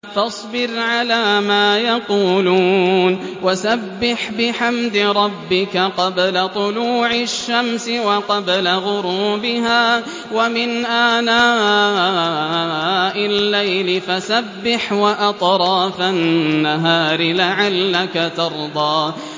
فَاصْبِرْ عَلَىٰ مَا يَقُولُونَ وَسَبِّحْ بِحَمْدِ رَبِّكَ قَبْلَ طُلُوعِ الشَّمْسِ وَقَبْلَ غُرُوبِهَا ۖ وَمِنْ آنَاءِ اللَّيْلِ فَسَبِّحْ وَأَطْرَافَ النَّهَارِ لَعَلَّكَ تَرْضَىٰ